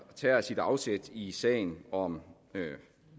tager sit afsæt i sagen om